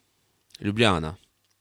Ljubljana.